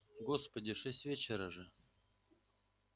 господи шесть вечера же